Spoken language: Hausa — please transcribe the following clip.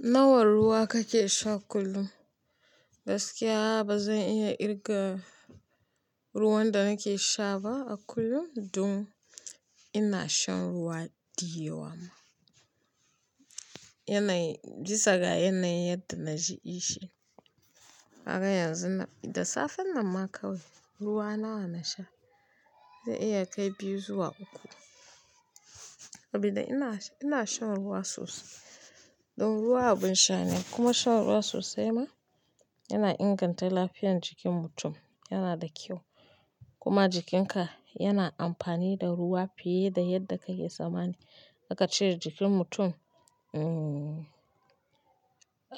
Nawa ruwa kake sha kullum? Gaskiya ba zan iya kirga ruwan da nake sha ba a kullum. Dun ina shan ruwa diyewa. Yanayi, bisa ga yanayin yadda na ji ishi. Kaga yanzu da safe nan ma kawai ruwa nawa na sha? Zai iya kai biyu zuwa uku. Sabida ina, ina shan ruwa sosai. Dun ruwa abun sha ne kuma shan ruwa sosai ma yana inganta lafiyan jikin mutum. Yana da kyau. Kuma jikinka yana amfani da ruwa fiye da yadda ka ke tsammani. Maka cire jikin mutum, mm